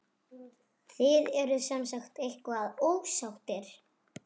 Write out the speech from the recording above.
Þið eruð semsagt eitthvað ósáttir?